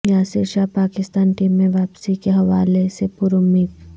Yasir Shah Pakistan team میں واپسی کے حوالے سے پرامید